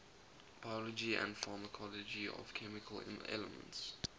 biology and pharmacology of chemical elements